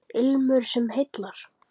Ilmur sem heillar